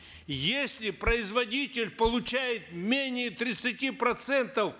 если производитель получает менее тридцати процентов